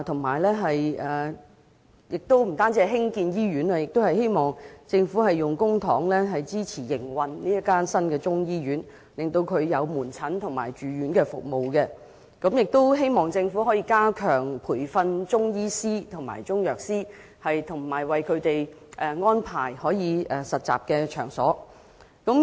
除此之外，我們希望政府能運用公帑支持新中醫醫院的營運，以提供門診及住院服務，亦希望政府能加強培訓中醫師及中藥師，為他們安排實習場所。